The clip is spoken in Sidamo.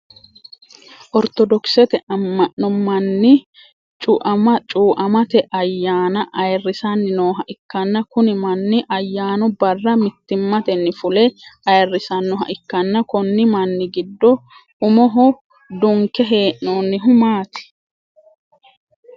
Ortodokisete ama'no manni cu'amate ayaanna ayirisanni nooha ikanna kunni manni ayaannu Barra mittimmatenni fule ayirisanoha ikanna konni manni gido umoho dunke hee'noonnihu maati?